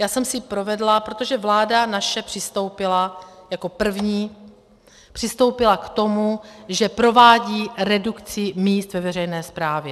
Já jsem si provedla - protože vláda naše přistoupila jako první, přistoupila k tomu, že provádí redukci míst ve veřejné správě.